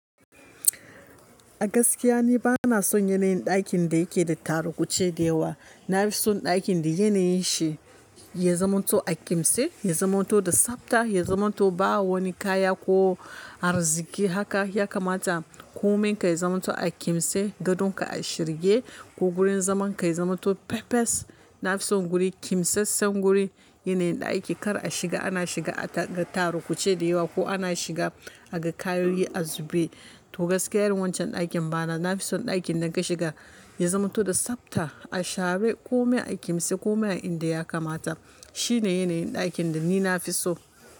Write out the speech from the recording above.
A gaskiya ni bana son yanayin ɗakin da yake da tarukuce da yawa. Na fi son ɗakin da yanayin shi ya zamanto a kimse, ya zamanto da tsabta, ya zamanto ba wani kaya ko arziki haka ya kamata. Komin ka yi zamanto a kimse, gadonka a shirye ko gurin zaman ka ya zamanto pepes. Na fi son guri kimsassen guri, yanayin ɗaki kar a shiga, ana shiga a ga tarukuce da yawa ko ana shiga a ga kayoyi a zubai. To gaskiya irin wancan ɗakin bana, na fi son ɗakin da ka shiga ya zamanto da tsabta, a share kome a kimse, kome inda ya kamata. Shi ne yanayin ɗakin da ni na fi so.